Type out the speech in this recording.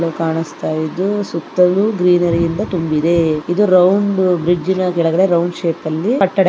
ಕಾಣಸ್ತಾ ಇದ್ದು ಸುತ್ತಲೂ ಗ್ರೀನರಿ ಇಂದ ತುಂಬಿದೇ ಇದು ರೌಂಡು ಬ್ರಿಡ್ಜಿನ ಕೆಳಗಡೆ ರೌಂಡ್ ಶೇಪಲ್ಲಿ ಕಟ್ಟಡ --